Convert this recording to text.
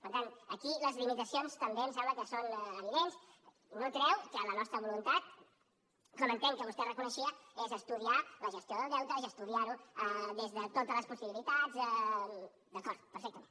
per tant aquí les limitacions també em sembla que són evidents i no treu que la nostra voluntat com entenc que vostè reconeixia és estudiar la gestió del deute és estudiar ho des de totes les possibilitats d’acord perfectament